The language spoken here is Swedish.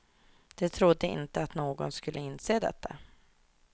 De trodde inte att någon skulle inse detta.